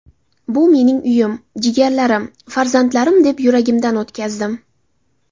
Bu mening uyim, jigarlarim, farzandlarim, deb yuragimdan o‘tkazdim.